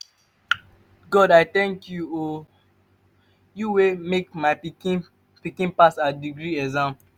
god i tank you o you wey make my pikin pikin pass her degree exam.